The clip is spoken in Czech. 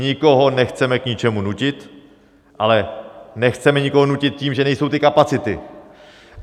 Nikoho nechceme k ničemu nutit, ale nechceme nikoho nutit tím, že nejsou ty kapacity.